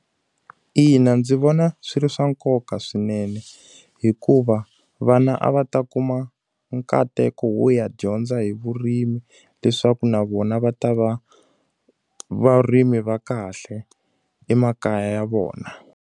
Ina ndzi vona swi ri swa nkoka swinene. Hikuva vana a va ta kuma nkateko wo ya dyondza hi vurimi, leswaku na vona va ta va varimi va kahle emakaya ya vona.